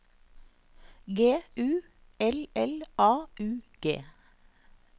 G U L L A U G